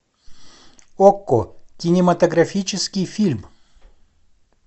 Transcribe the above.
окко кинематографический фильм